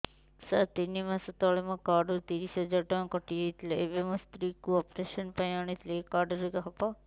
ସାର ତିନି ମାସ ତଳେ ମୋ କାର୍ଡ ରୁ ତିରିଶ ହଜାର ଟଙ୍କା କଟିଯାଇଥିଲା ଏବେ ମୋ ସ୍ତ୍ରୀ କୁ ଅପେରସନ ପାଇଁ ଆଣିଥିଲି ଏଇ କାର୍ଡ ରେ ହବ